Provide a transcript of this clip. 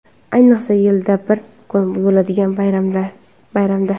Ayniqsa yilda bir kun bo‘ladigan bayramda.